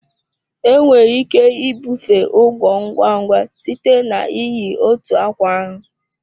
Enwere ike ibufe ugwo ngwa ngwa site na iyi otu akwa ahụ.